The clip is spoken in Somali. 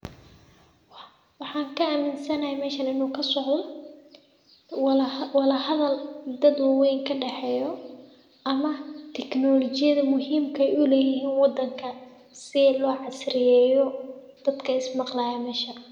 Waxa kaaminsanahaay mesha inu kascdo wada hadal ama teknolajiyad kadaxeyso dadka sii lo casriyeyo shaqadoda.